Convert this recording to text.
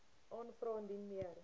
aanvra indien meer